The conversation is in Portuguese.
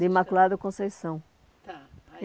De Imaculada Conceição. Tá